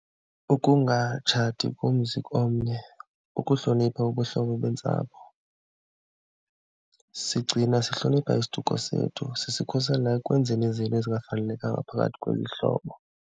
Ukungatshati komzi komnye, ukuhlonipha ubuhlobo bentsapho. Sigcina, sihlonipha isiduko sethu, sisikhusela ekwenzeni izinto ezingafanelekanga phakathi kweli hlobo.